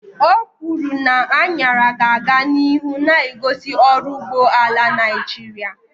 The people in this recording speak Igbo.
Okwuru na añara ga-aga n'ihu na-egosi ọrụ ugbo ala Naijiria.